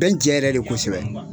Bɛ n jɛ yɛrɛ de kosɛbɛ.